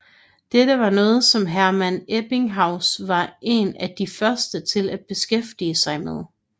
Dette var noget som Hermann Ebbinghaus var en af de første til at beskæftige sig med